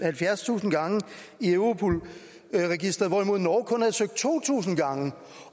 halvfjerdstusind gange i europol registeret hvorimod norge kun havde søgt to tusind gange